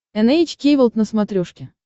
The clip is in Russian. эн эйч кей волд на смотрешке